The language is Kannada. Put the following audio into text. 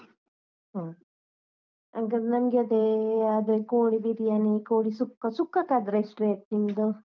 ಹ್ಮ್, ಹಂಗಂದ್ರೆ ನನ್ಗೆ ಅದೇ ಅದೆ ಕೋಳಿ ಬಿರಿಯಾನಿ, ಕೋಳಿ ಸುಕ್ಕ, ಸುಕ್ಕಕ್ಕಾದ್ರೆ ಎಷ್ಟು rate ನಿಮ್ದು?